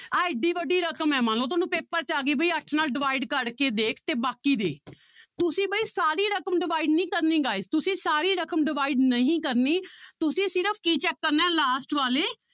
ਆਹ ਇੱਡੀ ਵੱਡੀ ਰਕਮ ਹੈ ਮੰਨ ਲਓ ਤੁਹਾਨੂੰ ਪੇਪਰ 'ਚ ਆ ਗਈ ਵੀ ਅੱਠ ਨਾਲ divide ਕਰਕੇ ਦੇਖ ਤੇ ਬਾਕੀ ਦੇ ਤੁਸੀਂ ਬਾਈ ਸਾਰੀ ਰਕਮ divide ਨੀ ਕਰਨੀ guys ਤੁਸੀਂ ਸਾਰੀ ਰਕਮ divide ਨਹੀਂ ਕਰਨੀ ਤੁਸੀਂ ਸਿਰਫ਼ ਕੀ check ਕਰਨਾ ਹੈ last ਵਾਲੇ